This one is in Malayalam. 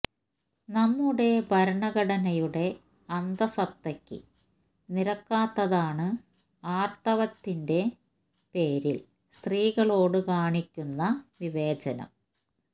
നമ്മുടെ ഭരണഘടനയുടെ അന്തസത്തക്ക് നിരക്കാത്തതാണ് ആർത്തവത്തിൻറ്റെ പേരിൽ സ്ത്രീകളോട് കാണിക്കുന്ന വിവേചനം